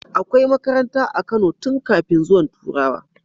Akai masarauta a Kano tun kafin zuwan turawa